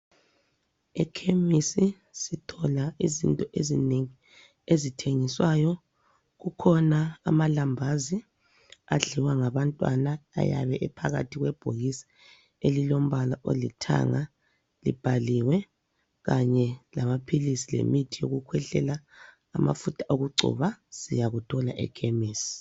Ekhemisi sithola izinto ezinengi ezithengiswayo. Kukhona amalambazi adliwa ngabantwana ayabe ephakathi kwebhokisi elilombala olithanga libhaliwe kanye lamaphilisi lemithi yokukhwehlela, amafutha okugcoba, siyakuthola ekhemisi.